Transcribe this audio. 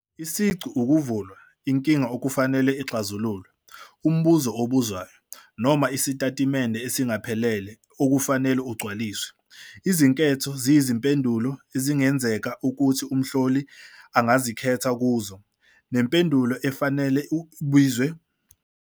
Isiqu ukuvulwa - inkinga okufanele ixazululwe, umbuzo obuzwayo, noma isitatimende esingaphelele okufanele ugcwaliswe. Izinketho ziyizimpendulo ezingenzeka ukuthi uMhloli angazikhetha kuzo, nempendulo efanele ebizwa ngokuthi ukhiye nezimpendulo ezingalungile ezibizwa ngokuthi iziphazamisi.